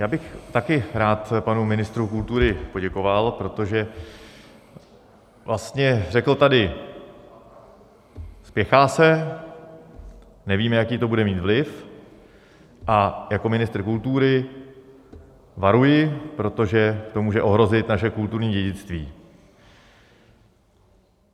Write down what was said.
Já bych taky rád panu ministrovi kultury poděkoval, protože vlastně řekl tady: Spěchá se, nevíme, jaký to bude mít vliv, a jako ministr kultury varuji, protože to může ohrozit naše kulturní dědictví.